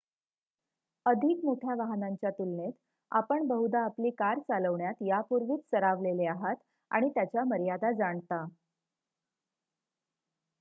अधिक मोठ्या वाहनांच्या तुलनेत आपण बहुधा आपली कार चालवण्यात यापूर्वीच सरावलेले आहात आणि त्याच्या मर्यादा जाणता